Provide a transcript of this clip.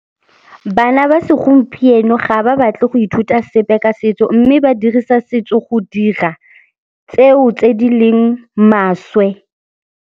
Bana ba segompieno ga ba batle go ithuta sepe ka setso mme ba dirisa setso go dira tseo tse di leng maswe.